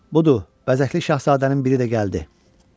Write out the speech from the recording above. Budur, vəzəkli şahzadənin biri də gəldi!